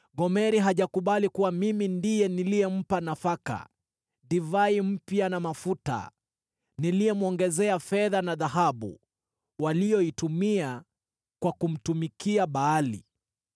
Gomeri hajakubali kuwa mimi ndiye niliyempa nafaka, divai mpya na mafuta, niliyemwongezea fedha na dhahabu waliyoitumia kwa kumtumikia Baali.